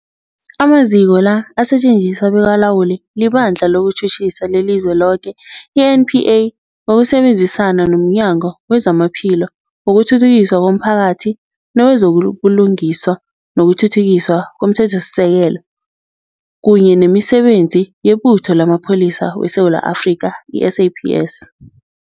Amaziko la asetjenziswa bekalawulwa liBandla lezokuTjhutjhisa leliZweloke, i-NPA, ngokusebenzisana nomnyango wezamaPhilo, wokuthuthukiswa komphakathi newezo buLungiswa nokuThuthukiswa komThethosisekelo, kunye nemiSebenzi yeButho lamaPholisa weSewula Afrika, i-SAPS.